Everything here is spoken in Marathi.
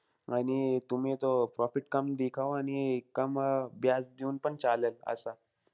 आणि तुम्ही तो profit कम दिखाऊन आणि कम अं देऊन पण चालेल असा.